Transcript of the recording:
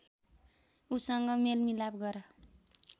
ऊसँग मेलमिलाप गर